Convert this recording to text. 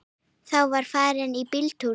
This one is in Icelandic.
Þá var farið í bíltúr.